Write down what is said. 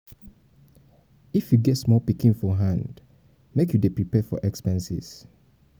if you get small pikin for hand um make you dey prepare for um expenses.